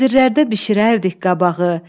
təndirlərdə bişirərdik qabağı.